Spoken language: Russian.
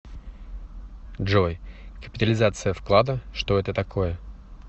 джой капитализация вклада что это такое